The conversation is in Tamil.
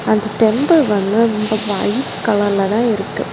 அந்த டெம்பிள் வந்து ஒயிட் கலர்லதா இருக்கு.